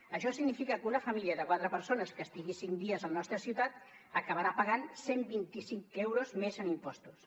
això significa que una família de quatre persones que estigui cinc dies a la nostra ciutat acabarà pagant cent i vint cinc euros més en impostos